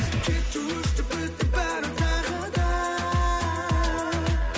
кетті өшті бітті бәрі тағы да